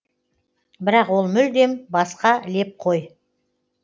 бірақ ол мүлдем басқа леп қой